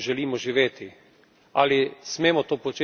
Ali smemo to početi naprej na živalih?